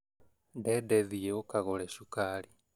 Dede thiĩ ũkagũre cukari